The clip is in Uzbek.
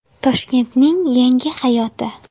Toshkentning Yangi hayoti.